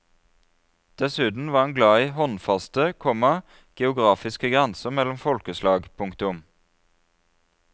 Dessuten var han glad i håndfaste, komma geografiske grenser mellom folkeslag. punktum